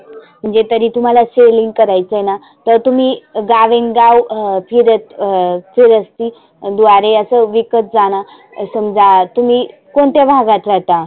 म्हणजे तरी तुम्हाला selling करायचयना तर तुम्ही गाविंग गाव ह फिरत अं फिरस्ती द्वारे असं विकत जाना. समजा तुम्ही कोणत्या भागात राहता?